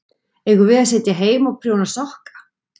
Eigum við að sitja heima og prjóna sokka?